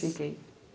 Fiquei.